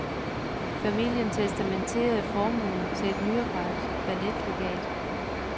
Familien testamenterede formuen til et nyoprettet balletlegat.